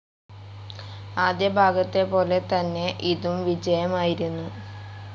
ആദ്യ ഭാഗത്തെ പോലെ തന്നെ ഇതും വിജയമായിരുന്നു.